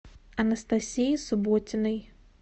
анастасии субботиной